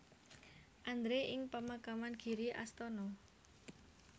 Andre ing pemakaman Giri Astana